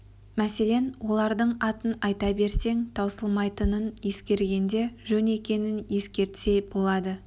мәселен олардың атын айта берсең таусылмайтынын ескергенде жөн екенін ескертсе болады